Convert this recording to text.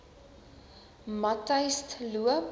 matyzensloop